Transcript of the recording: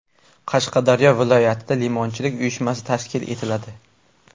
Qashqadaryo viloyatida limonchilik uyushmasi tashkil etiladi.